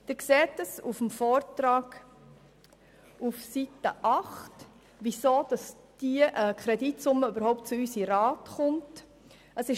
Sie sehen auf Seite 8 des Vortrags, weshalb diese Kreditsumme überhaupt dem Grossen Rat vorgelegt wird.